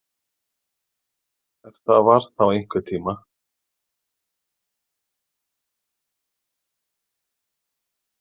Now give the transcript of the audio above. Ef það var þá einhvern tíma.